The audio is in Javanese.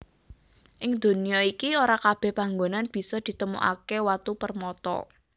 Ing donya iki ora kabèh panggonan bisa ditemokaké watu permata